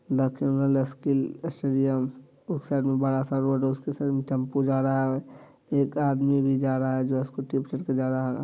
उस साईड में बड़ा-सा रोड है उस पर एक टेम्पू जा रहा है| एक आदमी भी जा रहा है जो स्कूटी पे से जा रहा है।|